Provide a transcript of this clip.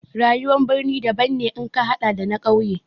Rayuwar birni daban ne in ka haɗa da na ƙauye.